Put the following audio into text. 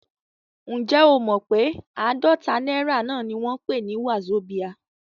Ǹjẹ́ o mọ pé àádọ́ta náírà náà ni wọ́n ń pè ní wazobia?